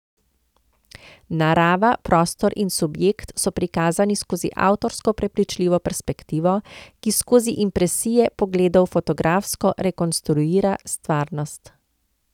Narava, prostor in subjekt so prikazani skozi avtorsko prepričljivo perspektivo, ki skozi impresije pogledov fotografsko rekonstruira stvarnost.